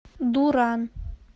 дуран